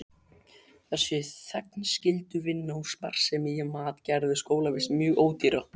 Þessi þegnskylduvinna og sparsemi í mat gerðu skólavist mjög ódýra.